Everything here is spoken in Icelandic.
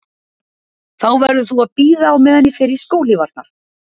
Þá verður þú að bíða á meðan ég fer í skóhlífarnar